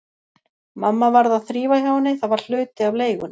Mamma varð að þrífa hjá henni, það var hluti af leigunni.